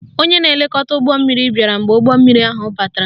Onye na-elekọta ụgbọmmiri bịara mgbe ụgbọmmiri ahụ batara